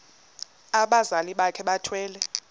abazali bakhe bethwele